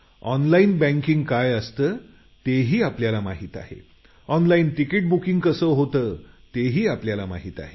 online banking online ticket booking या कशा होतात हे आपण जाणता